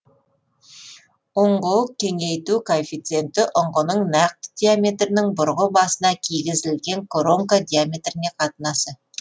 ұңғы кеңейту коэффициенті ұңғының нақты диаметрінің бұрғы басына кигізілген коронка диаметріне қатынасы